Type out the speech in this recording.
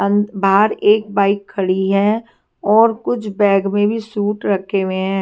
अंद बाहर एक बाइक खड़ी है और कुछ बैग में भी सूट रखे हुए हैं।